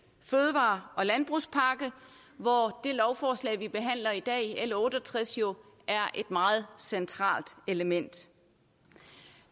fødevare og landbrugspakke hvor det lovforslag vi behandler i dag l otte og tres jo er et meget centralt element